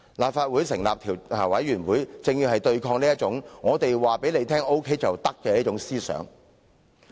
立法會成立調查委員會，正正就是要對抗這種"我告訴你 OK 便 OK" 的心態。